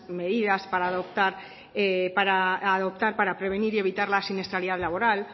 medidas a adoptar para prevenir y evitar la siniestralidad laboral